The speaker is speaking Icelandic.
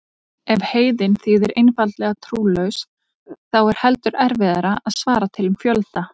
Ef heiðinn þýðir einfaldlega trúlaus þá er heldur erfiðara að svara til um fjölda.